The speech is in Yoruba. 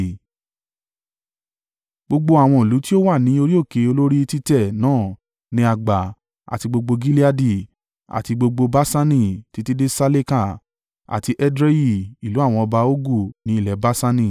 Gbogbo àwọn ìlú tí ó wà ní orí òkè olórí títẹ́ náà ni a gbà àti gbogbo Gileadi, àti gbogbo Baṣani, títí dé Saleka, àti Edrei, ìlú àwọn ọba Ogu ní ilẹ̀ Baṣani.